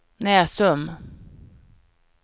Näsum